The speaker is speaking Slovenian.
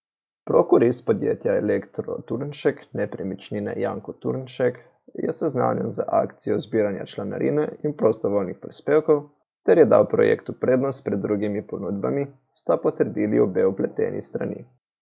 Prokurist podjetja Elektro Turnšek nepremičnine Janko Turnšek je seznanjen z akcijo zbiranja članarine in prostovoljnih prispevkov ter je dal projektu prednost pred drugimi ponudbami, sta potrdili obe vpleteni strani.